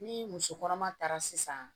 Ni muso kɔnɔma taara sisan